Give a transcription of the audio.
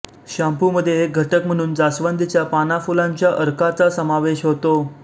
शाम्पूमध्ये एक घटक म्हणून जास्वंदीच्या पानाफुलांच्या अर्काचा समावेश होतो